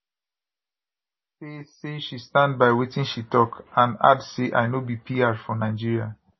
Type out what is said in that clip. say say she stand by wetin she tok and add say i no be pr for nigeria